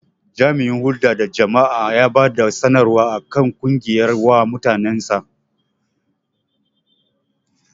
Jami'in hulɗa da jama'a ya bada sanarwa akan ƙungiyar wa mutanen sa